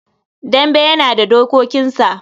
Dambe yana da dokokinsa.